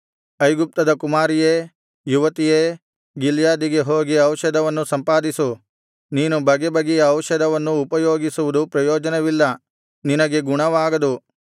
ಐಗುಪ್ತದ ಕುಮಾರಿಯೇ ಯುವತಿಯೇ ಗಿಲ್ಯಾದಿಗೆ ಹೋಗಿ ಔಷಧವನ್ನು ಸಂಪಾದಿಸು ನೀನು ಬಗೆಬಗೆಯ ಔಷಧವನ್ನು ಉಪಯೋಗಿಸುವುದು ಪ್ರಯೋಜನವಿಲ್ಲ ನಿನಗೆ ಗುಣವಾಗದು